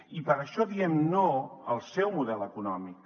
i per això diem no al seu model econòmic